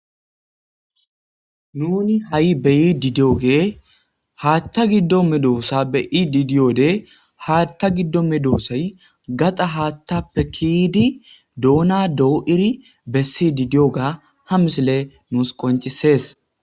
nuni ha7i beyi didiyoge haatta giddo medoossa be i didiyode haatta giddo medoossay gaxa haattappekidi doona doo7iri bessi didiyoga ha misile nuus qoncisees